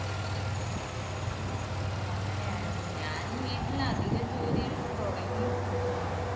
ഓ അങ്ങനെയായോ ഞാൻ വീട്ടിൽ അധികം ജോലിയൊന്നും തുടങ്ങിയിട്ടില്ല.